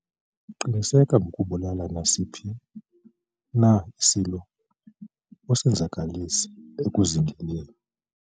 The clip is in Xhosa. qiniseka ngokubulala nesiphi na isilo osenzakalise ekuzingeleni